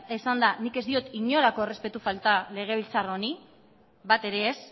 esanda nik ez diot inolako errespetu falta legebiltzar honi bat ere ez